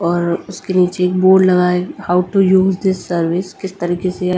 और उसके नीचे बोर्ड लगाए how to use this service किस तरीके से--